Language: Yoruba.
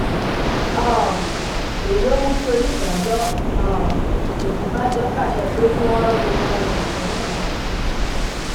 um èyí ló mú kí onídàájọ um òṣíbàjọ pàṣẹ pé kí wọn ro gbogbo wọn dà sẹwọn ná